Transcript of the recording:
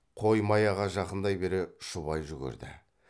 қой маяға жақындай бере шұбай жүгірді